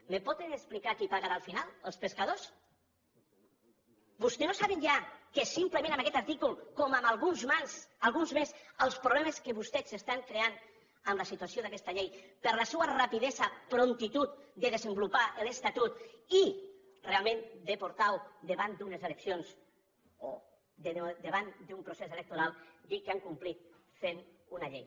em poden explicar qui pagarà al final els pescadors vostès no saben ja que simplement amb aquest article com en alguns més els problemes que vostès s’estan creant amb la situació d’aquesta llei per la seva rapidesa promptitud de desenvolupar l’estatut i realment de portar la davant d’unes eleccions o davant d’un procés electoral dir que han complert fent una llei